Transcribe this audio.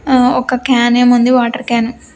ఆ ఒక క్యానేమో ఉంది వాటర్ క్యాను .